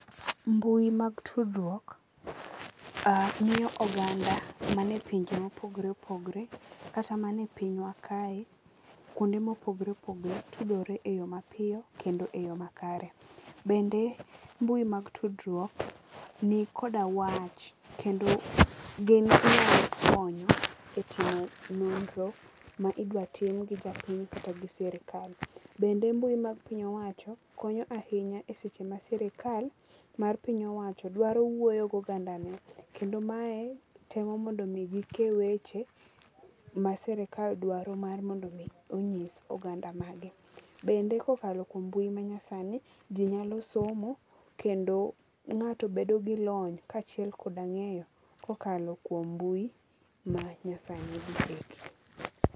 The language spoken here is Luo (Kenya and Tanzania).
Mbui mag tudruok miyo oganda manie pinje mopogore opogore kata mani e pinywa kae kuonde mopogore opogore tudore e yo mapiyo kendo e yo makare. Bende mbui mag tudruok ni koda wach kendo gi ginyalo konyo e timo nonro ma idwa tim gi japiny kata gi sirkal. Bende mbui ma piny owacho konyo ahinya e seche ma sirkal mar piny owacho dwaro wuoyo gi oganda ne. Kendo mae temo mondo mi gike weche ma sirkal dwaro mar mondo mi onyis oganda mage. Bende kokalo kuom mbui ma nyasani ji nyalo somo kendo ng'ato bedo gi lony ka achiel koda ngeyo kokalo kuom mbui ma nyasani